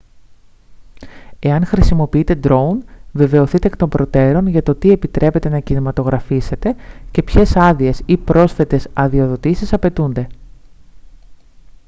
εάν χρησιμοποιείτε ντρόουν βεβαιωθείτε εκ των προτέρων για το τι επιτρέπεται να κινηματογραφήσετε και ποιες άδειες ή πρόσθετες αδειοδοτήσεις απαιτούνται